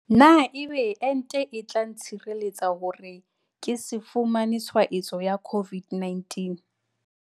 Na ebe ente e tla ntshireletsa hore ke se fumane tshwaetso ya COVID-19?